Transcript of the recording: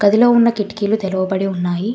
గదిలో ఉన్న కిటికీలు తెరవబడి ఉన్నాయి.